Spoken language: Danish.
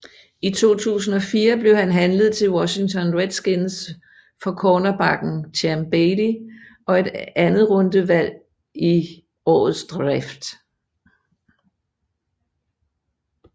I 2004 blev han handlet til Washington Redskins for cornerbacken Champ Bailey og et andetrundevalg i årets draft